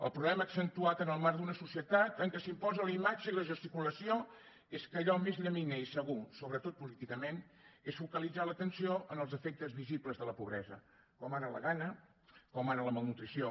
el problema accentuat en el marc d’una societat en què s’imposa la imatge i la gesticulació és que allò més llaminer i segur sobretot políticament és focalitzar l’atenció en els efectes visibles de la pobresa com ara la gana com ara la malnutrició